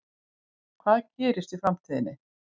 Hvað gerist í framtíðinni?